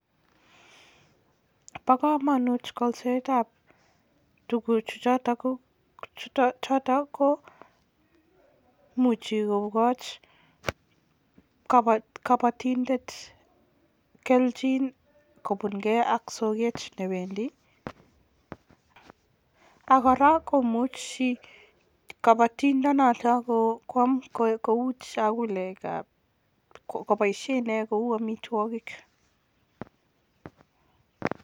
Bo kamanut kolsetab tuguchu choto komuchi kokoch kabatiindet kelchin kobunkei ak soket newendi ak kora komuchi kabatindet noto kwaam kou chakulekab, kopoishe inee kou amitwokik.